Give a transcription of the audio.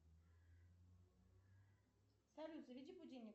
салют заведи будильник